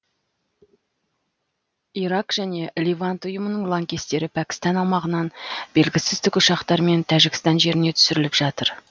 ирак және левант ұйымының лаңкестері пәкістан аумағынан белгісіз тікұшақтармен тәжікстан жеріне түсіріліп жатыр